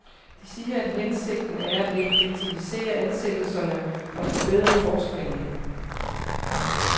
De siger, at hensigten er at effektivisere ansættelserne og forbedre forskningen.